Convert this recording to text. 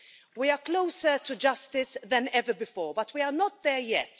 We are closer to justice than ever before but we are not there yet.